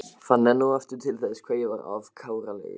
Fann enn og aftur til þess hvað ég var afkáralegur.